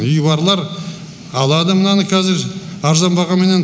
үйі барлар алады мынаны кәзір арзан бағаменен